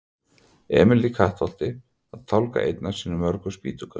Emil í Kattholti að tálga einn af sínum mörgu spýtukörlum.